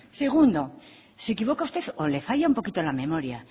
segundo se equivoca usted o le falla un poquito la memoria